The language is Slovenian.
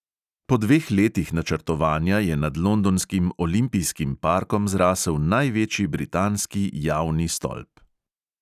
Po dveh letih načrtovanja je nad londonskim olimpijskim parkom zrasel največji britanski javni stolp.